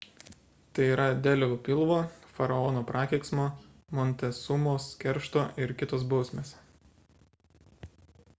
tai yra delio pilvo faraono prakeiksmo montesumos keršto ir kt. bausmės